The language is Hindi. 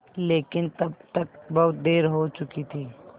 लेकिन तब तक बहुत देर हो चुकी थी